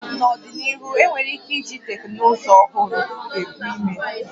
N'ọdịnihu, enwere ike iji teknụzụ ọhụrụ ebu ime